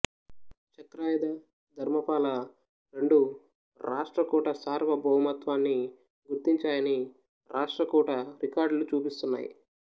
చక్రాయుధా ధర్మపాల రెండూ రాష్ట్రకూట సార్వభౌమత్యాన్ని గుర్తించాయని రాష్ట్రకూట రికార్డులు చూపిస్తున్నాయి